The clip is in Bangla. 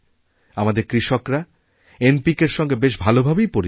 আমাদের কৃষকরা এনপিকে র সঙ্গে বেশ ভালোভাবেই পরিচিত